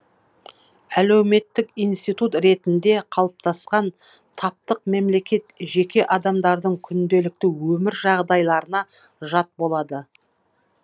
әлеуметтік институт ретінде қалыптасқан таптық мемлекет жеке адамдардың күнделікті өмір жағдайларына жат болады